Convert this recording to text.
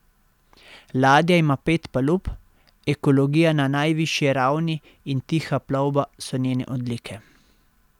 Ladja ima pet palub, ekologija na najvišji ravni in tiha plovba so njene odlike.